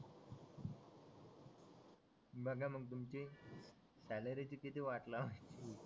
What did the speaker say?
बघा मग तुमची सॅलरीची किती वाट लावून